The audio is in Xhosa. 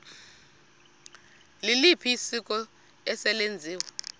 liliphi isiko eselenziwe